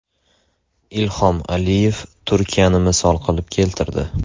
Ilhom Aliyev Turkiyani misol qilib keltirdi.